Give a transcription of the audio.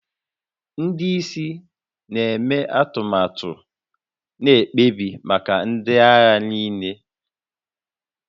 Ndị isi na-eme atụmatụ na mkpebi maka ndị agha niile